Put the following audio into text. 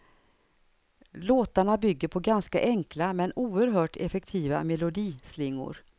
Låtarna bygger på ganska enkla men oerhört effektiva melodislingor.